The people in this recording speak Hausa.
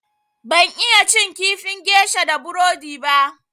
Ban iya cin kifin gesha da burodi ba.